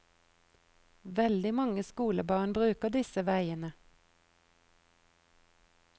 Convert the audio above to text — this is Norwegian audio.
Veldig mange skolebarn bruker disse veiene.